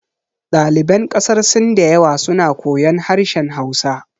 Ɗaliban ƙasar sin da yawa suna koyan harshen hausa